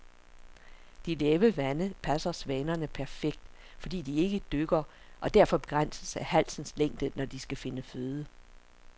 De lave vande passer svanerne perfekt, fordi de ikke dykker og derfor begrænses af halsens længde, når de skal finde føde.